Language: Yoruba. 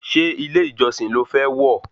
Ṣé ilé ìjọsìn lo fẹ́ wọ̀